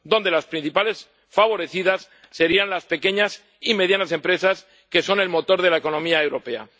Las principales favorecidas serían las pequeñas y medianas empresas, que son el motor de la economía europea.